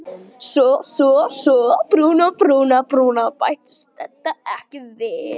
Svo bættist þetta við.